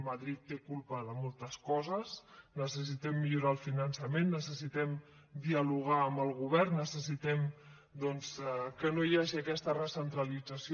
madrid té culpa de moltes coses necessitem millorar el finançament necessitem dialogar amb el govern necessitem doncs que no hi hagi aquesta recentralització